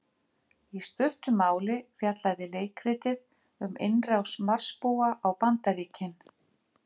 Í stuttu máli fjallaði leikritið um innrás Marsbúa á Bandaríkin.